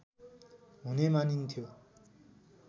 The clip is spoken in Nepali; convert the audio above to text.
हुने मानिन्थ्यो